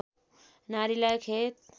नारीलाई खेत